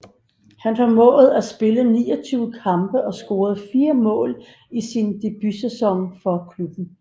Han formåede at spille 29 kampe og score 4 mål i sin debutsæson for klubben